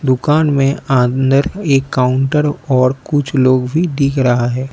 दुकान में अंदर एक काउंटर और कुछ लोग भी दिख रहा है।